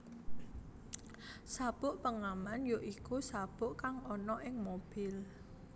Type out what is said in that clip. Sabuk pengaman ya iku sabuk kang ana ing mobil